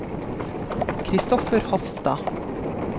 Kristoffer Hofstad